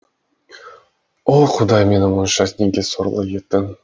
о құдай мені мұнша неге сорлы еттің